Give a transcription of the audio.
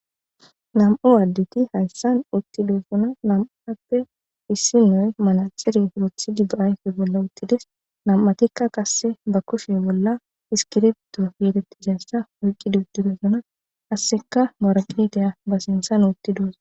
Nam7u addeti hayssan uttidosona nam7atuppe issi nay manaxire wothidi be ayfe bolla uttides nam7atikka qasse ba kushe bolla iskirbto geetettizayssa oyqqidi uttidosona qasseka woraqetiya ba sinthan wottidooso.